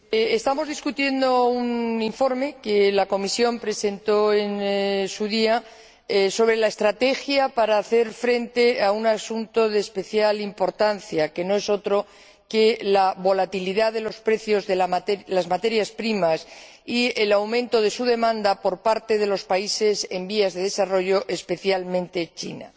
Señor Presidente, estamos discutiendo un informe que la Comisión presentó en su día sobre la estrategia para hacer frente a un asunto de especial importancia, que no es otro que la volatilidad de los precios de las materias primas y el aumento de su demanda por parte de los países en vías de desarrollo, especialmente China.